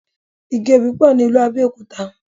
Igi Obì pọ̀ ní ìlú Abẹ́òkúta.